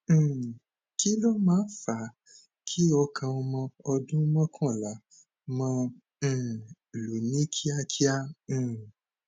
um kí ló máa ń fa a kí ọkàn ọmọ ọdún mọkànlá máa um lù ní kíákíá um